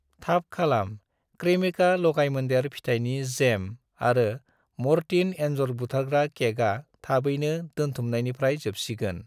थाब खालाम, क्रेमिका लगायमोन्देर फिथाइनि जेम आरो म'रटिन एन्जर बुथारग्रा केकआ थाबैनो दोनथुमनायनिफ्राय जोबसिगोन